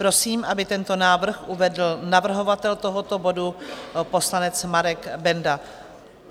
Prosím, aby tento návrh uvedl navrhovatel tohoto bodu, poslanec Marek Benda.